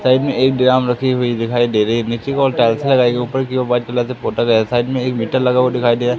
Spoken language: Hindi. साइड में एक ड्रम रखी हुई दिखाई दे रही है नीचे की ओर टाइल्स लगीइ हुई ऊपर की ओर व्हाइट कलर से पोता गया है साइड में मीटर लगा हुआ दिखाई दे रहा --